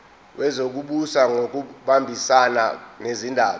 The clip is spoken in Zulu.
wezokubusa ngokubambisana nezindaba